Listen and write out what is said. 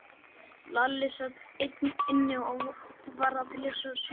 Lalli sat einn inni og var að lesa sögubók.